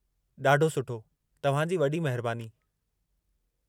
ॾाढो सुठो। तव्हां जी वॾी महिरबानी।